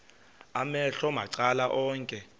amehlo macala onke